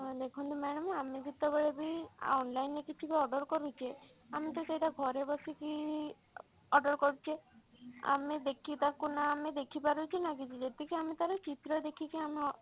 ଦେଖନ୍ତୁ madam ଆମେ ଯେତେବେଳେ ବି online ରେ କିଛି ବି order କରୁଛେ ଆମେ ତ ସେଇଟା ଘରେ ବସିକି order କରୁଛେ ଆମେ ଦେଖି ତାକୁ ନା ଆମେ ଦେଖିପାରୁଛେ ନା କିଛି ଯେତିକି ଆମେ ତାର ଚିତ୍ର ଦେଖିକି ଆମେ